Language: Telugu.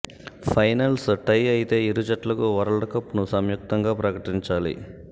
ఫైనల్స్ టై అయితే ఇరు జట్లకు వరల్డ్ కప్ను సంయుక్తంగా ప్రకటించాలి